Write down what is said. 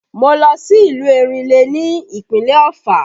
Mo lọ sí ìlú Erinle ní ìpínlẹ̀ Ofà